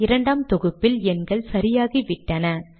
இரண்டாம் தொகுப்பில் எண்கள் சரியாகிவிட்டன